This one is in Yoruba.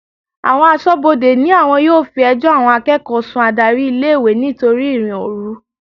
Àwọn aṣọ́bodè ní àwọn yóò fi ẹjọ́ àwọn akẹ́kọ̀ọ́ sun adárí ilé-ìwé nítorí ìrìn-òru.